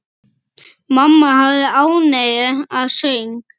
Mamma hafði ánægju af söng.